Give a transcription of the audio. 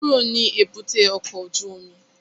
Kúrò ní èbúté ọkọ̀ ojú omi!